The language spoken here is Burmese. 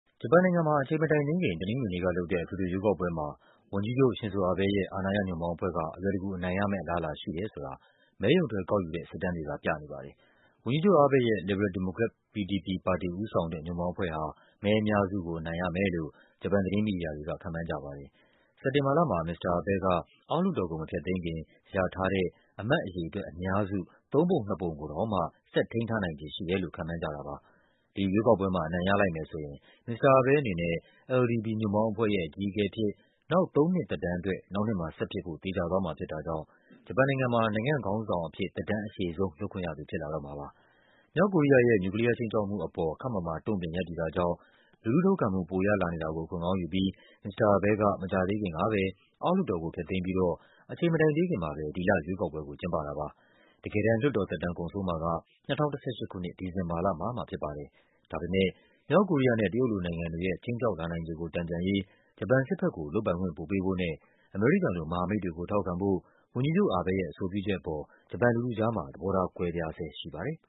ဂျပန်နိုင်ငံမှာ အချိန်မတိုင်သေးခင် တနင်္ဂနွေနေ့ကလုပ်တဲ့ အထွေထွေရွေးကောက်ပွဲမှာ ဝန်ကြီးချုပ် Shinzo Abe ရဲ့ အာဏာရ ညွန့်ပေါင်းအဖွဲ့က အလွယ်တကူအနိုင်ရမယ့် အလားအလာရှိတယ်ဆိုတာ မဲရုံထွက်ကောက်ယူတဲ့ စစ်တမ်းတွေက ပြနေပါတယ်။ ဝန်ကြီးချုပ် Abe ရဲ့ လစ်ဘရယ်ဒီမိုကရက် LDP ပါတီဦးဆောင်တဲ့ ညွန့်ပေါင်းအဖွဲ့ဟာ မဲအများစုကို အနိုင်ရမယ်လို့ ဂျပန် သတင်း မီဒီယာတွေက ခန့်မှန်းကြပါတယ်။ စက်တင်ဘာလမှာ မစ္စတာ Abe က အောက်လွှတ်တော်ကို မဖျက်သိမ်းခင် ရထားတဲ့ အမတ်အရေအတွက်အများစု သုံးပုံနှစ်ပုံကိုတောင်မှ ဆက်ထိန်းထားနိုင်ခြေရှိတယ်လို့ ခန့်မှန်းကြတာပါ။ ဒီရွေးကောက်ပွဲမှာ အနိုင်ရလိုက်မယ်ဆိုရင် မစ္စတာ Abe အနေနဲ့ LDP ညွန့်ပေါင်းအဖွဲ့ရဲ့ အကြီးအကဲအဖြစ် နောက်သုံးနှစ် သက်တမ်းအတွက် နောက်နှစ်မှာဆက်ဖြစ်ဖို့ သေချာသွားမှာဖြစ်တာကြောင့် ဂျပန်နိုင်ငံမှာ နိုင်ငံခေါင်းဆောင်အဖြစ် သက်တမ်း အရှည်ဆုံး လုပ်ခွင့်ရသူ ဖြစ်လာတော့မှာပါ။ မြောက်ကိုရီးယားရဲ့ နျူကလီးယားခြိမ်းခြောက်မှုအပေါ် ခပ်မာမာ တုန့်ပြန်ရပ်တည်တာကြောင့် လူထုထောက်ခံမှု ပိုရလာနေတာ ကို အခွင့်ကောင်းယူပြီး မစ္စတာ Abe က မကြာသေးခင်ကပဲ အောက်လွှတ်တော်ကို ဖျက်သိမ်းပြီးတော့ အချိန်မတိုင်သေးခင်မှာပဲ ဒီလ ရွေးကောက်ပွဲကို ကျင်းပတာပါ။ တကယ်တမ်း လွှတ်တော်သက်တမ်း ကုန်ဆုံးမှာက ၂၀၁၈ ခုနှစ် ဒီဇင်ဘာလမှာမှဖြစ်ပါ တယ်။ ဒါပေမဲ့ မြောက်ကိုရီးယားနဲ့ တရုတ်လို နိုင်ငံတွေရဲ့ ခြိမ်းခြောက်လာနိုင်ခြေကို တန်ပြန်ရေး ဂျပန်စစ်ဘက်ကို လုပ်ပိုင်ခွင့် ပိုပေးဖို့နဲ့ အမေရိကန်လို မဟာမိတ်တွေကို ထောက်ခံဖို့ ဝန်ကြီးချုပ် Abe ရဲ့အဆိုပြုချက်အပေါ် ဂျပန်လူထုကြားမှာ သဘောထား ကွဲပြားဆဲရှိပါတယ်။